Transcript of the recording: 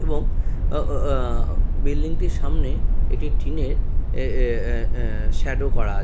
এবং ও ও ও অ্যা বিল্ডিংটির সামনে একটি টিনের এ এ এ অ্যা শ্যাডো করা আছে।